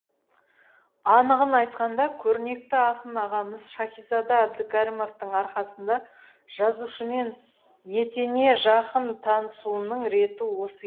анығын айтқанда көрнекті ақын ағамыз шәкизада әбдікәрімовтың арқасында жазушымен етене жақын танысуымның реті осы